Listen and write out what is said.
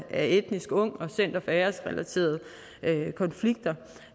af etniske ung og center for æresrelaterede konflikter